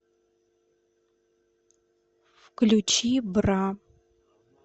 включи бра